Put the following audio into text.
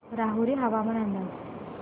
राहुरी हवामान अंदाज